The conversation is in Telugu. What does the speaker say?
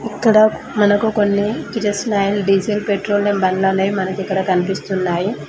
ఇక్కడ మనకి కొన్ని డీజిల్ పెట్రోలియం బండ్లనేవి ఇక్కడ కనిపిస్తూ ఉన్నాయి